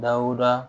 Lawura